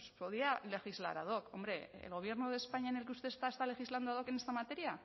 pues podía legislar ad hoc hombre el gobierno de españa en el que usted está está legislando ad hoc en esta materia